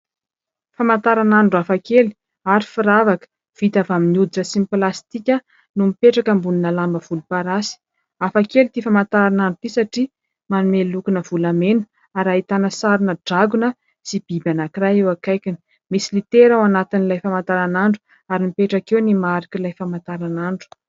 Famataranandro hafa kely, ary firavaka. Vita avy amin'ny oditra sy ny plasitika, no mipetraka ambon'ny lamba volomparasy. Hafa kely ity famataranandro ity, satria manome loka-na volamena, ary ahitana sari-na drakona sy biby anank'iray eo ankaikiny. Misy litera ao anatin'ilay famataranandro, ary mipetraka eo ny marik'ilay famataranandro.